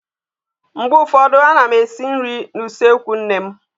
Mgbe ụfọdụ a na m esi nri n'usekwu nne m.